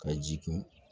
Ka ji kun